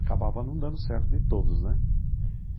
Acabava não dando certo de ir todos, né?